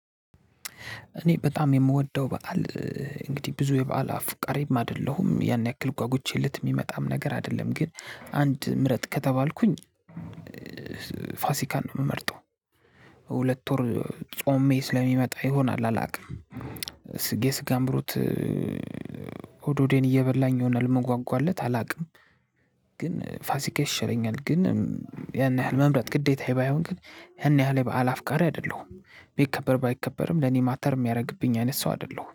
እኔ በጣም የምወደው በዓል እንግዲህ ብዙ የበአል አፉቃሬም አይደለሁም ያን ያክል ጓጉቼለት ሚመጣም ነገር አይደለም። ግን አንድ ምረጥት ከተባልኩኝ። ፋሲካን ነው የምመርጠው። ሁለት ወር ጾሜ ስለሚመጣ ይሆናል አላውቅም። የስጋ አምሮት ሆድ ሆዴን እየበላኝ ይሆናል እምጓጓለት አላውቅም። ግን ፋሲካ ይሻለኛል። ግን ያን ያህል መምረጥ ግዴታ ባይሆን ግን ያን ያህል የበአል አፍቃሪ አይደለሁም። ቢከበር ባይከበርም ለኔ ማተር የሚያደርግብኝ አይነት ሰው አይደለሁም